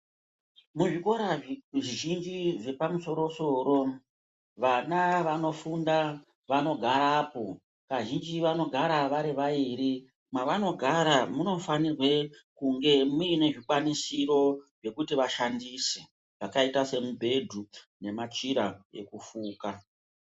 Muzvikora zvizhinji zvepamusoro-soro vana vanofunda vanogarapo, kazhinji vanogara vari vairi. Mevanogara munofanirwe kunge muine zvikwanisiro zvekuti vashandise zvakaite semibhedhu nemachira ekufuka.